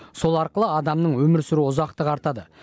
сол арқылы адамның өмір сүру ұзақтығы артады